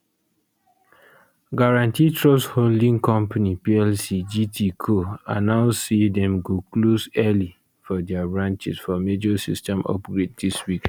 guaranty trust holding company plc gtco announce say dem go go close early for dia branches for major system upgrade dis week